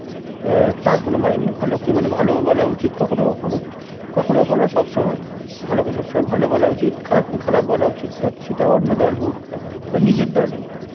এ তার কোন মানে নেই. ভালো কে মানে ভালোও বলা উচিত কখনো কখনো. কখনো কখনো না সব সময়. ভালো কে সবসময় ভালো বলা উচিত, খারাপকে খারাপ বলা উচিত তার সেটা অন্য দল হোক বা নিজের দল হোক.